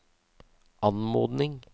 anmodning